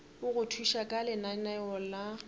go thuša ka lenaneo la